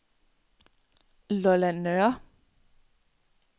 Lolland Nørre